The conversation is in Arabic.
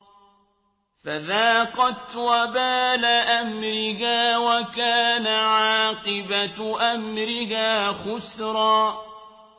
فَذَاقَتْ وَبَالَ أَمْرِهَا وَكَانَ عَاقِبَةُ أَمْرِهَا خُسْرًا